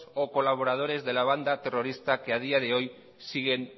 o colaboradores de la banda terrorista que a día de hoy siguen